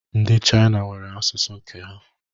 Ndi Chaina nwere asụsụ nke ha